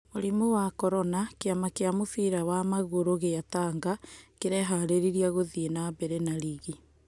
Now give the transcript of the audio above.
Mũrimũ wa korona: Kĩama kĩa mũbira wa magũru gĩa Tanga kĩreharĩria gũthiĩ nambere na rigi.